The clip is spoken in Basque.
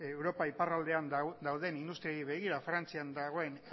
europa iparraldean dauden industriei begira frantzian dagoen